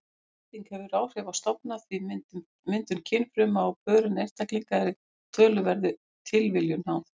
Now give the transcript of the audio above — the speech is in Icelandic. Hending hefur áhrif á stofna því myndun kynfruma og pörun einstaklinga er töluverðri tilviljun háð.